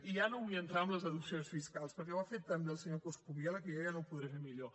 i ja no vull entrar en les deduccions fiscals perquè ho ha fet tan bé el senyor coscubiela que jo ja no ho podré fer millor